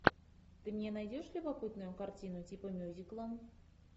ты мне найдешь любопытную картину типа мюзикла